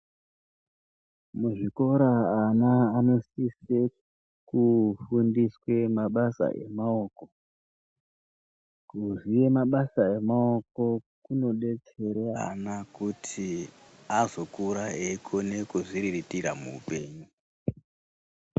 Muzvikora ana anosise kufundiswe mabasa emaoko. Kuziye mabasa emaoko kunobetsere ana kuti azokura eikona kuzviriritira muupenyu.